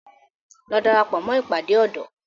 Lọ darapọ̀ mó ìpàdé ọ̀dọ́!